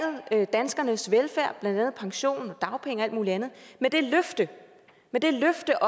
danskernes velfærd blandt andet pension dagpenge og alt muligt andet med det løfte det løfte